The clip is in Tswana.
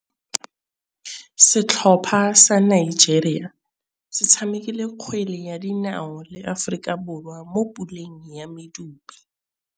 Setlhopha sa Nigeria se tshamekile kgwele ya dinaô le Aforika Borwa mo puleng ya medupe.